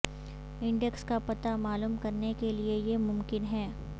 index کا پتہ معلوم کرنے کیلئے یہ ممکن ہے